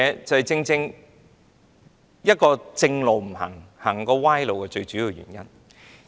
這正是"不走正路走歪路"的最主要原因。